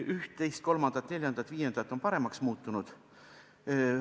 Üht-teist-kolmandat-neljandat-viiendat on paremaks muutunud.